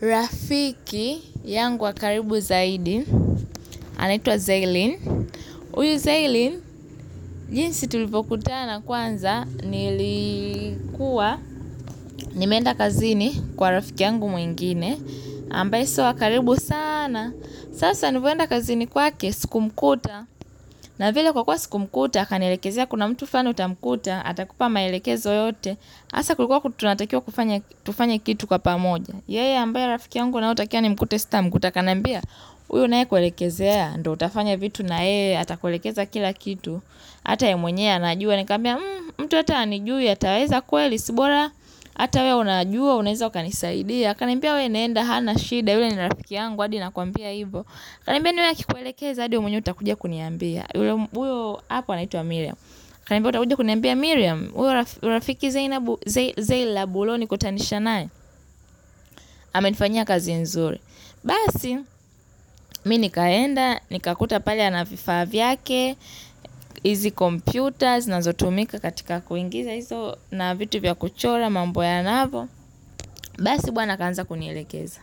Rafiki yangu wa karibu zaidi, anaitwa Zaylin. Huyu Zaylin, jinsi tulivyokutana kwanza, nilikuwa nimeenda kazini kwa rafiki yangu mwingine. Ambaye si wa karibu sana. Sasa nilivyoenda kazini kwake, sikumkuta. Na vile kwa kuwa sikumkuta, akanielekezea kuna mtu flani utamkuta, atakupa maelekezo yote. Hasa kulikuwa tunatakiwa kufanya kitu kwa pamoja. Yeye ambaye rafiki yangu nayetakiwa nimkute sitamkuta akanambia huyo naye kuelekezea ndio utafanya vitu nayeye atakuelekeza kila kitu hata yeye mwenyewe anajua nikamwambia mtu hata hanijui ataweza kweli si bora hata wewe unajua unaweza ukanisaidia akaniambia wewe nenda hana shida huyo ni rafiki yangu hadi nakwambia hivo akaniambia na wewe akikuelekeza hadi wewe mwenyewe utakujia kuniambia huyo hapa anaitwa miriam akanambia utakuja kuniambia miriam huyo rafiki zeilab uliyenikutanisha naye amenifanyia kazi nzuri Basi, mimi nikaenda, nikamkuta pale ana vifaa vyake hizi computer, zinazotumika katika kuingiza hizo na vitu vya kuchora, mambo ya navo Basi, bwana akaanza kunielekeza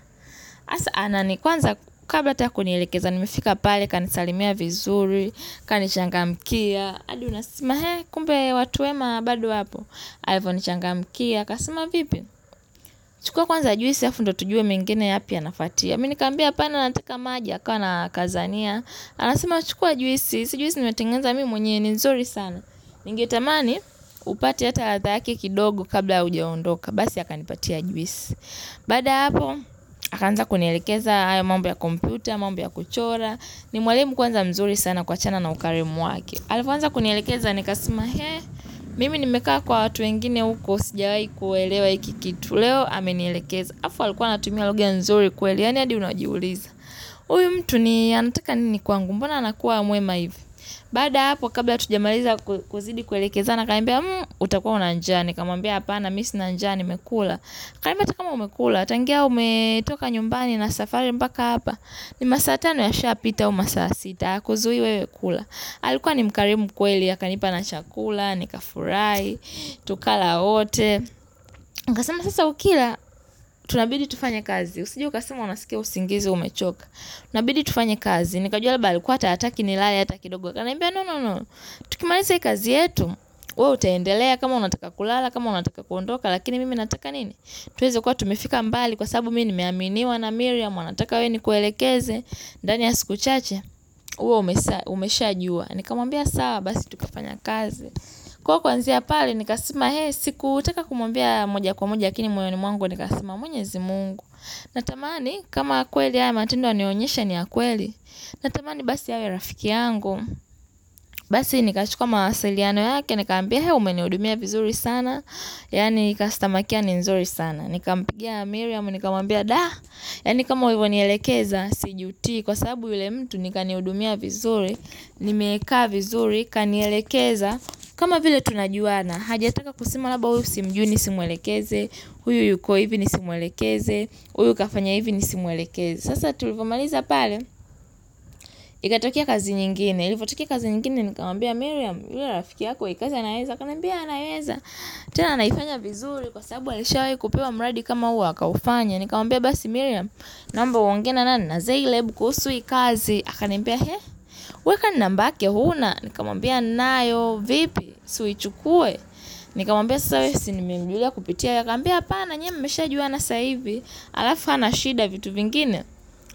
sasa, anani, kwanza kabla hata kunielekeza nimefika pale akanisalimia vizuri akanichangamkia hadi unasmile, kumbe watu wema bado wapo Alivyonichangamkia, akasema vipi chukua kwanza juisi alafu ndio tujue mengine yapi yanafwatia mimi nikamwambia hapana nataka maji, akawa anakazania. Anasema chukua juisi, si juisi nimetengeneza mimi mwenyewe ni nzuri sana. Ningetamani, upate hata ya thahaki kidogo kabla ya hujaondoka. Basi akanipatia juisi. Baada ya hapo, akaanza kunielekeza hayo mambo ya kompyuta, mambo ya kuchora. Ni mwalimu kwanza mzuri sana kuachana na ukarimu wake. Alipoanza kunielekeza, nikasema hee. Mimi nimekaa kwa watu wengine huko sijawahi kuelewa hiki kitu. Leo amenielekeza. Alafu alikuwa anatumia lugha nzuri kweli yaani hadi unajiuliza huyu mtu ni anataka nini kwangu mbona anakuwa mwema hivi baada ya hapo kabla hatujamaliza kuzidi kuelekezana akaniambia utakuwa na njaa nikamwambia hapana mimi sina njaa nimekula akaniambia hata kama umekula tangia umetoka nyumbani na safari mpaka hapa ni masaa tano yashapita au masaa sita hakuzui wewe kula alikuwa ni mkarimu kweli akanipa na chakula, nikafurahi tukala wote akasema sasa ukila tunabidi tufanye kazi usije ukasema unasikia usingizi umechoka inabidi tufanye kazi Nikajua labda alikua hata hataki nilale hataki kidogo akaniambia nonono Tukimaliza hii kazi yetu wewe utaendelea kama unataka kulala kama unataka kuondoka lakini mimi nataka nini tuweze kuwa tumefika mbali kwa sababu mimi nimeaminiwa na miriam anataka we nikuelekeze ndani ya siku chache uwe umesha jua Nikamwambia sawa basi tukafanya kazi Kwa kwanzia pale nikasema Hee sikutaka kumwambia moja kwa moja Lakini moyoni mwangu nikasema mwenyezi mungu. Natamani kama kweli haya matendo ananionyesha ni ya kweli. Natamani basi awe rafiki yangu. Basi nikachuka mawasiliano yake. Nikamwambia hee umenihudumia vizuri sana. Yaani ni customer care ni nzuri sana. Nikampigia miriam nikamwambia da. Yaani kama ulivyonielekeza. Sijutii. Kwa sababu yule mtu ni kanihudumia vizuri. Nimekaa vizuri. Kanielekeza, kama vile tunajuana. Hajataka kusema labda huyu simjui nisimwelekeze. Huyu yuko hivi nisimwelekeze Huyu kafanya hivi nisimwelekeze Sasa tulivyo maliza pale Ikatokea kazi nyingine ilipotokea kazi nyingine Nikamwambia Miriam yule rafiki yako hii kazi anaweza akaniambia eeh anaweza tena anaifanya vizuri Kwa sababu alishawahi kupewa mradi kama huu akaufanya Nikamwambia basi Miriam Nomba uongee na zeileb kuhusu hii kazi akaniambia he wewe kwani nambake huna Nikamwambia ninayo vipi Si uichukue Nikamwambia sasa wewe Si nimemjulia kupitia wewe akaniambia hapana nyinyi mshajuana sasa hivi alafu hana shida vitu vingine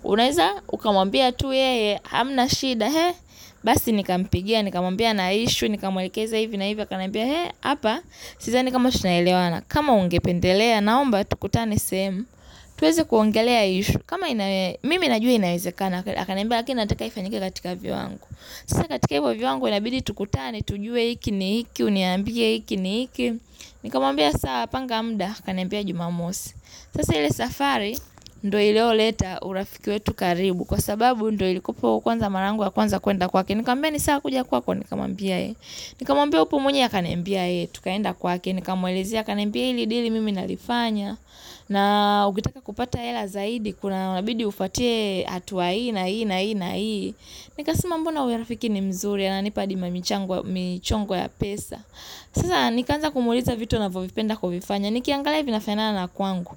unaweza ukamwambia tu yeye hamna shida he basi nikampigia nikamwambia nina issue nikamwalekeza hivi na hivi akaniambia he hapa sidhani kama tunaelewana kama ungependelea naomba tukutane sehemu tuweze kuongelea hii issue kama mimi najua inawezekana akaniambia haki nataka ifanyike katika viwango sasa katika hivyo viwango inabidi tukutane tujue hiki ni hiki uniambie hiki ni hiki Nikamwambia sawa panga muda akaniambia jumamosi Sasa ile safari ndio iliyoleta urafiki wetu karibu Kwa sababu ndio ilikupa kwanza mara yangu ya kwanza kuenda kwake Nikamwambia ni sawa kuja kwako nikamwambia eeh Nikamwambia upo mwenyewe akaniambia eeh tukaenda kwake Nikamuelezea akaniambia hili dili mimi nalifanya na ukitaka kupata hela zaidi Kuna inabidi ufuate hatua hii na hii na hii Nikasema mbona huyo rafiki ni mzuri ananipa hadi mamichongo ya pesa Sasa nikaanza kumwuliza vitu anavyovipenda kuvifanya Nikiangalia hivi vinafanana na kwangu.